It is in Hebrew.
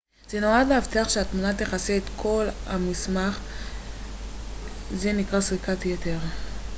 זה נועד להבטיח שהתמונה תכסה את כל המסך זה נקרא סריקת יתר